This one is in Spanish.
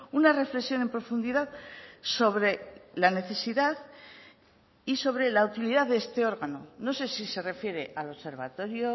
una reflexión en profundidad sobre la necesidad y sobre la utilidad de este órgano no sé si se refiere al observatorio